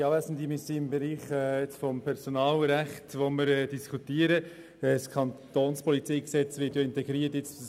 Wir befinden uns im Bereich des Personalrechts, wobei das Gesetz über die Kantonspolizei (KPG) ins PolG integriert wird.